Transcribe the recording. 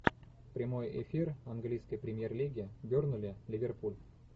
прямой эфир английской премьер лиги бернли ливерпуль